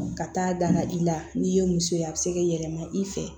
Ka taa danna i la n'i ye muso ye a bɛ se k'i yɛlɛma i fɛ